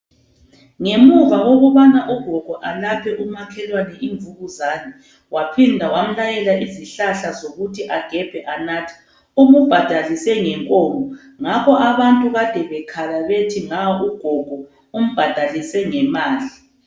Ngemuva kokubana ugogo alaphe umakhelwane imvukuzane waphinda wamlayela izihlahla zokuthi agebhe anathe umbhadalise ngenkomo ngakho abantu kade bekhala bethi nga ugogo umbhadalise ngemali.